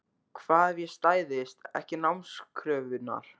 Hvað ef ég stæðist ekki námskröfurnar?